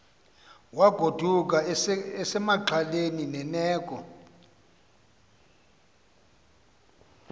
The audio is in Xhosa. wagoduka esexhaleni lerneko